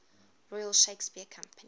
royal shakespeare company